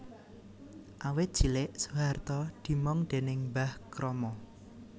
Awit cilik Soeharto dimong déning Mbah Kromo